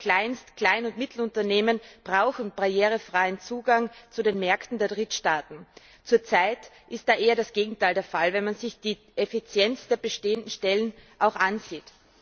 Die Kleinst Klein und Mittelunternehmen brauchen barrierefreien Zugang zu den Märkten der Drittstaaten. Zurzeit ist da eher das Gegenteil der Fall, wenn man sich die Effizienz der bestehenden Stellen ansieht.